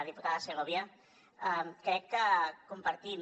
diputada segovia crec que compartim